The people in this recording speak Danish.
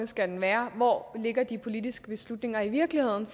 skal være og hvor de politiske beslutninger i virkeligheden